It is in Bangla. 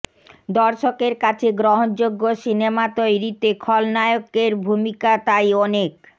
দর্শকের কাছে গ্রহণযোগ্য সিনেমা তৈরিতে খলনায়কের ভূমিকা তাই অনেক